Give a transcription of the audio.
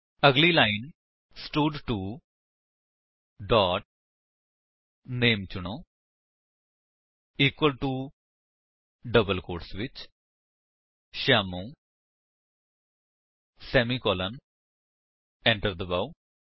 ਅਗਲੀ ਲਾਇਨ ਸਟਡ2 dot name ਚੁਣੋ ਇਕੁਅਲ ਟੋ ਡਬਲ ਕੋਟਸ ਵਿੱਚ ਸ਼ਿਆਮੂ ਸੇਮੀਕਾਲਨ ਏੰਟਰ ਦਬਾਓ